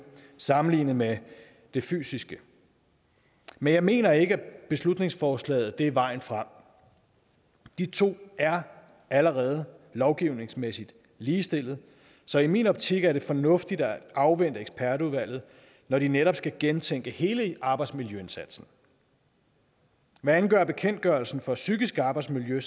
sammenlignet med det fysiske men jeg mener ikke at beslutningsforslaget er vejen frem de to er allerede lovgivningsmæssigt ligestillet så i min optik er det fornuftigt at afvente ekspertudvalget når de netop skal gentænke hele arbejdsmiljøindsatsen hvad angår bekendtgørelsen for psykisk arbejdsmiljø